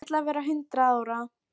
Ég ætla að verða hundrað ára.